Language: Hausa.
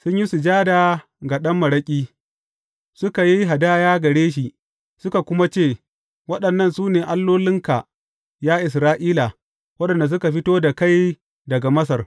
Sun yi sujada ga ɗan maraƙi, suka yi hadaya gare shi, suka kuma ce, waɗannan su ne allolinka ya Isra’ila, waɗanda suka fito da kai daga Masar.